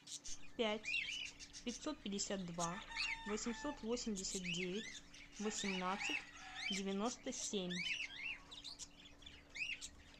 пять пятьсот пятьдесят два восемьсот восемьдесят девять восемнадцать девяносто семь